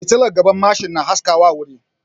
Fitilar gaban mashin na haskaka wuri